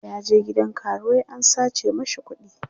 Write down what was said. ya je gidan karuwai an sace mashi kuɗi